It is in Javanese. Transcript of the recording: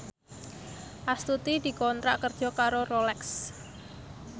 Astuti dikontrak kerja karo Rolex